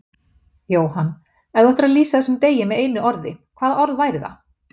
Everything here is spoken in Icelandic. Jóhann: Ef þú ættir að lýsa þessum degi með einu orði, hvaða orð væri það?